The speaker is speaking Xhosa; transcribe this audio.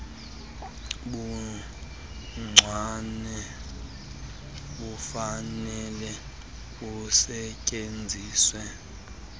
buncwane bufanele busetyenziswe